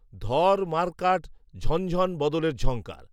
ধর মার কাট ঝনঝণ বদলের ঝংকার